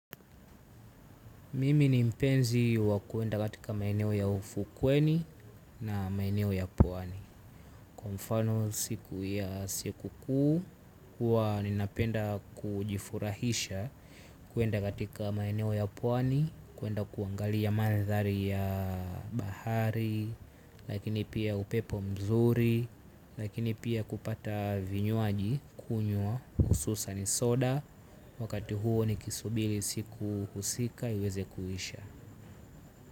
Mimi ni mpenzi wa kuenda katika maeneo ya ufukweni na maeneo ya pwani. Kwa mfano siku ya siku kuu, hua ninapenda kujifurahisha. Kwenda katika maeneo ya pwani, kwenda kuangali ya maadhari ya bahari. Lakini pia upepo mzuri, lakini pia kupata vinywaji kunywa, hususani soda. Wakati huo ni kisubiri siku husika iweze kuisha.